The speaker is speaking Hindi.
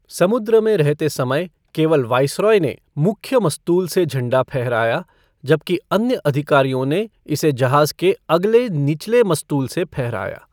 समुद्र में रहते समय, केवल वाइसरॉय ने मुख्य मस्तूल से झंडा फहराया, जबकि अन्य अधिकारियों ने इसे जहाज़ के अगले निचले मस्तूल से फहराया।